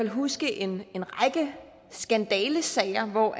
huske en række skandalesager hvor